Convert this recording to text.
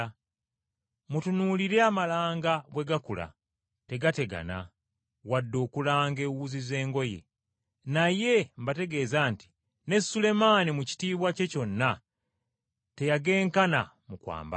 “Mutunuulire amalanga bwe gakula! Tegategana wadde okulanga ewuzi z’engoye, naye mbategeeza nti ne Sulemaani mu kitiibwa kye kyonna teyagenkana mu kwambala.